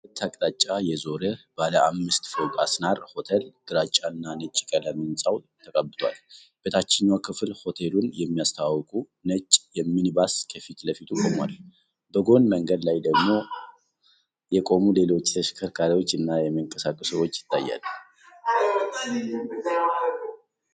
በሁለት አቅጣጫ የዞረ ባለ አምስት ፎቅ አሲናራ ሆቴል ግራጫ እና ነጭ ቀለም ህንፃው ተቀብቷል። በታችኛው ክፍል ሆቴሉን የሚያስተዋውቅ ነጭ ሚኒባስ ከፊት ለፊቱ ቆሟል፤ በጎን መንገድ ላይ ደግሞ የቆሙ ሌሎች ተሽከርካሪዎች እና የሚንቀሳቀሱ ሰዎች ይታያሉ።